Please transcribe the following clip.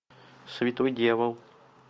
святой дьявол